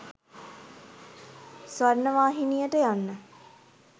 ස්වර්ණවාහිනියට යන්න